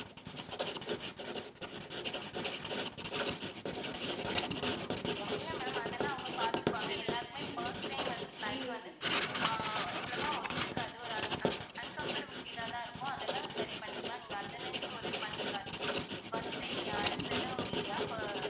இல்ல ma'am அதெல்லாம் அவங்க பாத்துப்பாங்க எல்லாருக்குமே first time வந்து flight வந்து ஆஹ் அவ்வளவா ஒத்துக்காது ஒரு un~ un~ uncomfortable feel ஆ தான் இருக்கும். அதெல்லாம் சரி பண்ணிக்கலாம். நீங்க அதை நினச்சு worry பண்ணிக்காதீங்க first time yeah சிலவங்களுக்கு தான்